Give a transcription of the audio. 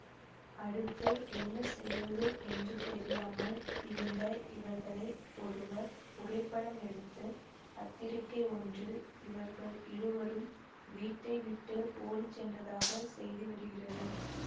அடுத்து என்ன செய்வது என்று தெரியாமல் இருந்த இவர்களை ஒருவர் புகைப்படம் எடுத்து பத்திரிக்கை ஒன்றில் இவர்கள் இருவரும் வீட்டை விட்டு ஓடிச்சென்றதாக செய்தி வருகிறது